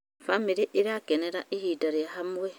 Bamĩrĩ ĩrakenera ihinda rĩa hamwe.